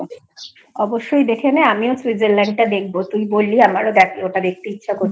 অবশ্যই দেখে নে আমিও lang:EngSwitzerlandlang:Eng টা দেখবো তুই বলি আমার ওটা দেখার ইচ্ছা করছে